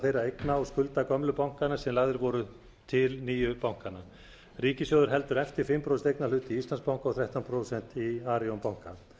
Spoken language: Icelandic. þeirra eigna og skulda gömlu bankanna sem lagðir voru til nýju bankanna ríkissjóður heldur eftir fimm prósent eignarhlut í íslandsbanka og þrettán prósent í arion banka